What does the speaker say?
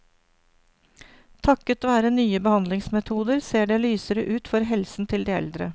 Takket være nye behandlingsmetoder, ser det lysere ut for helsen til de eldre.